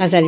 ای هدهد